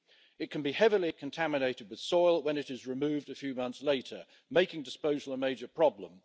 It can be heavily contaminated with soil when it is removed a few months later, making disposal a major problem.